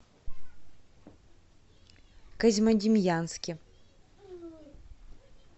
козьмодемьянске